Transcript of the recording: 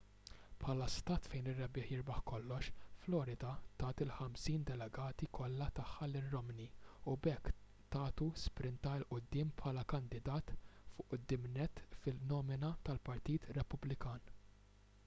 bħala stat fejn ir-rebbieħ jirbaħ kollox florida tat il-ħamsin delegati kollha tagħha lil romney u b'hekk tagħtu spinta il quddiem bħala kandidat fuq quddiem nett fin-nomina tal-partit repubblikan